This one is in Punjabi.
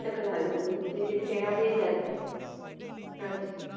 ਟਕਰਾ ਗਈ ਸੀ ਤੇ ਜਿੱਥੇ ਇਹਨਾਂ ਦੀ death ਹੋ ਗਈ ਸੀ, ਹਾਂਜੀ।